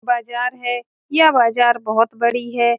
बाज़ार है यह बाज़ार बहुत बड़ी है।